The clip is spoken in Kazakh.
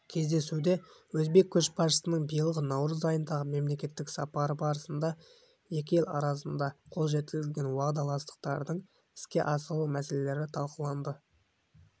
кездесуде өзбек көшбасшысының биылғы наурыз айындағы мемлекеттік сапары барысында екі ел арасында қол жеткізілген уағдаластықтардың іске асырылу мәселелері талқыланды